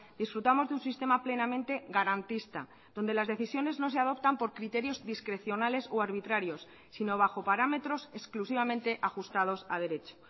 disfrutamos de un sistema plenamente garantista donde las decisiones no se adoptan por criterios discrecionales o arbitrarios sino bajo parámetros exclusivamente ajustados a derecho